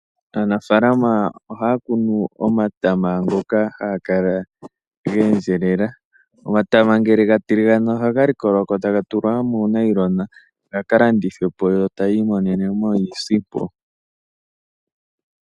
Aanafaalama ohaya kunu omatama ngoka haga kala geendjelela. Omatama ngele ga tiligana ohaga likolwako taga tulwa muunailona gaka landithwe po, yo tayi imonenemo iisimpo.